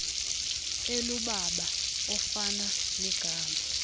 elubala ofana negama